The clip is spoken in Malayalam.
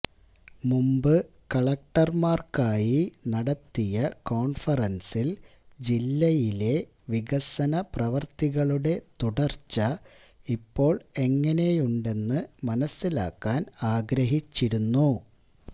മുമ്പ് കലക്ടര്മാര്ക്കായി നടത്തിയ കോണ്ഫറന്സില് ജില്ലയിലെ വികസനപ്രവര്ത്തികളുടെ തുടര്ച്ച ഇപ്പോള് എങ്ങിനെയുണ്ടെന്ന് മനസ്സിലാക്കാന് ആഗ്രഹിച്ചിരുന്നു